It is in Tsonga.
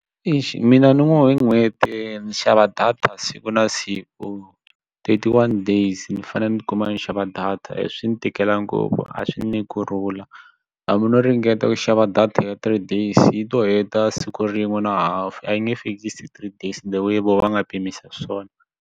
Eish mina ni ngo hi n'hweti ndzi xava data siku na siku thirty one days ni fanele ni kuma ni xava data swi ni tikela ngopfu a swi ni nyiki kurhula hambi no ringeta ku xava data ya three days yi to heta siku rin'we na hafu a yi nge fikisi three days the way vona va nga pimisa swona.